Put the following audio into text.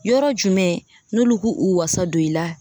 Yɔrɔ jumɛn n'olu k'u u wasa don i la